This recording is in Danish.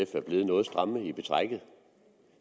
er blevet noget stramme i betrækket og